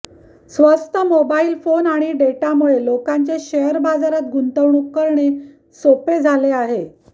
स्वस्त mobile phone आणि डेटामुळे लोकांचे शेअर बाजारात गुंतवणूक करणे सोपे झाले आहे